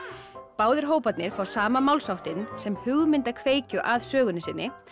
báðir hóparnir fá sama málsháttinn sem hugmynd að kveikju að sögunni sinni